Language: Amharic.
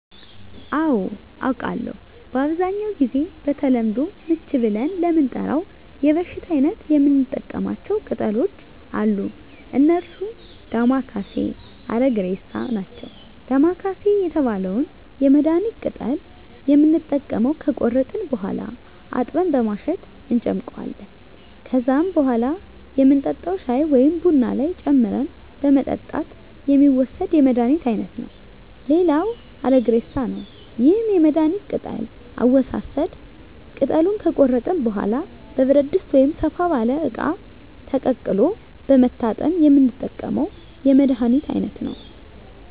አዎ አውቃለሁ በአብዛኛው ጊዜ በተለምዶ ምች ብለን ለምንጠራው የበሽታ አይነት የምንጠቀማቸው ቅጠሎች አሉ እነርሱም ዳማከሴ እና አረግሬሳ ናቸው ዳማከሴ የተባለውን የመድሀኒት ቅጠል የምንጠቀመው ከቆረጥን በኋላ አጥበን በማሸት እንጨምቀዋለን ከዛም በኋላ የምንጠጣው ሻይ ወይም ቡና ላይ ጨምረን በመጠጣት የሚወሰድ የመድሀኒት አይነት ነው ሌላው አረግሬሳ ነው ይህም የመድሀኒት ቅጠል አወሳሰድ ቅጠሉን ከቆረጥን በኋላ በብረት ድስት ወይም ሰፋ ባለ እቃ ተቀቅሎ በመታጠን የምንጠቀመው የመድሀኒት አይነት ነው